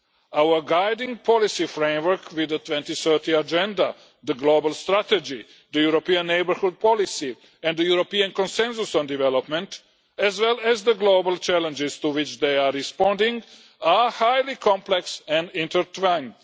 Our guiding policy framework with the 2030 Agenda, the Global Strategy, the European Neighbourhood Policy and the European consensus on development as well as the global challenges to which they are responding are highly complex and intertwined.